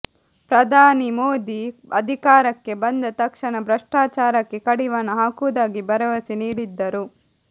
ಪ್ರಧಾನಿ ಮೋದಿ ಅಧಿಕಾರಕ್ಕೆ ಬಂದ ತಕ್ಷಣ ಭ್ರಷ್ಟಾಚಾರಕ್ಕೆ ಕಡಿವಾಣ ಹಾಕುವುದಾಗಿ ಭರವಸೆ ನೀಡಿದ್ದರು